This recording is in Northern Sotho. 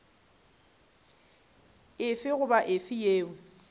efe goba efe yeo e